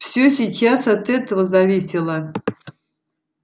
все сейчас от этого зависело